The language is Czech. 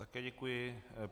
Také děkuji.